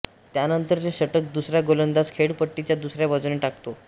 त्यानंतरचे षटक दुसरा गोलंदाज खेळपट्टीच्या दुसऱ्या बाजूने टाकतो